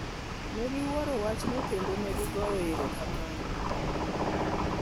Ne giwuoro wachno kendo ne gigoyo erokamano.